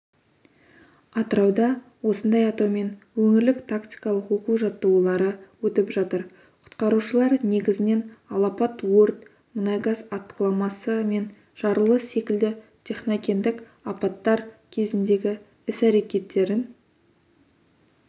атырауда осындай атаумен өңірлік тактикалық оқу-жаттығулары өтіп жатыр құтқарушылар негізінен алапат өрт мұнай-газ атқыламасы мен жарылыс секілді техногендік апаттар кезіндегі іс-әрекеттерін